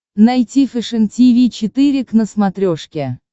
найти фэшен тиви четыре к на смотрешке